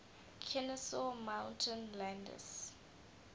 kenesaw mountain landis